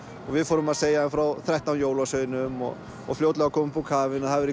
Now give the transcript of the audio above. við fórum að segja þeim frá þrettán jólasveinum og og fljótlega kom upp úr kafinu